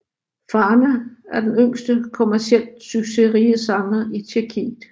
Farna er den yngste kommercielt succesrige sanger i Tjekkiet